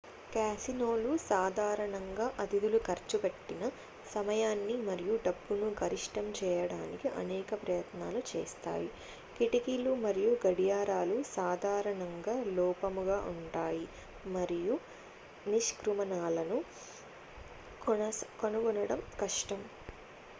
కాసినోలు సాధారణంగా అతిధులు ఖర్చు పెట్టిన సమయాన్ని మరియు డబ్బును గరిష్టం చేయడానికి అనేక ప్రయత్నాలు చేస్తాయి కిటికీలు మరియు గడియారాలు సాధారణంగా లోపముగా ఉంటాయి మరియు నిష్క్రమణలను కనుగొనడం కష్టం